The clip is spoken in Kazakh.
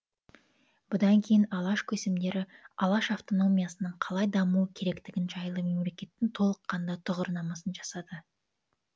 бұдан кейін алаш көсемдері алаш автономиясының қалай дамуы керектігі жайлы мемлекеттің толыққанды тұғырнамасын жасады